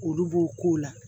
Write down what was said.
Olu b'o ko la